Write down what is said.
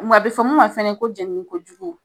Nga a be fɔ mun ma fɛnɛ ko jɛnini ko jugu